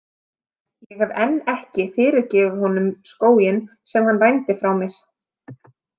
Ég hef enn ekki fyrirgefið honum skóginn sem hann rændi frá mér.